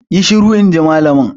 Yi shiru! in ji malamin.